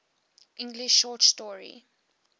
english short story